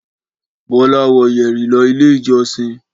Bọ́lá wọ yẹ̀rì lọ Ilé-ìjọsìn.